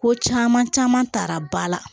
Ko caman caman ta ba la